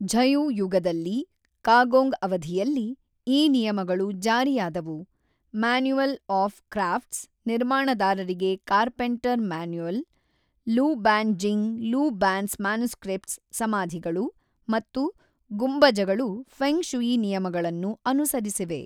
ಝಯು ಯುಗದಲ್ಲಿ ಕಾಗೊಂಗ್ ಅವಧಿಯಲ್ಲಿ ಈ ನಿಯಮಗಳು ಜಾರಿಯಾದವು ಮ್ಯಾನ್ಯುವಲ್ ಆಫ್ ಕ್ರಾಫ್ಟ್ಸ್ ನಿರ್ಮಾಣದಾರರಿಗೆ carpenter manual Lu Ban Jing Lu Ban's manuscript ಸಮಾಧಿಗಳು ಮತ್ತು ಗುಂಬಜಗಳು ಫೆಂಗ್ ಶೂಯಿ ನಿಯಮಗಳನ್ನು ಅನುಸರಿಸಿವೆ.